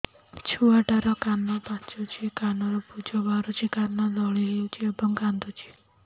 ଛୁଆ ଟା ର କାନ ପାଚୁଛି କାନରୁ ପୂଜ ବାହାରୁଛି କାନ ଦଳି ହେଉଛି ଏବଂ କାନ୍ଦୁଚି